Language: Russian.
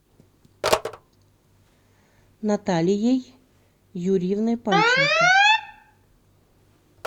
наталией юрьевной панченко